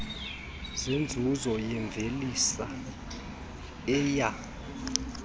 zenzuzo yemvelisa eya